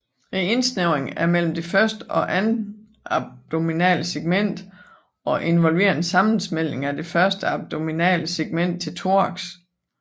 Indsnævringen er mellem det første og andet abdominale segment og involverer en sammensmeltning af det første abdominale segment til thorax